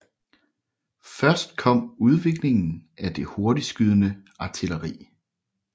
Først kom udviklingen af det hurtigtskydende artilleri